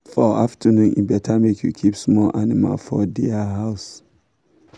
i wear white cloth kneel down for shrine with palm oil with palm oil for my hand.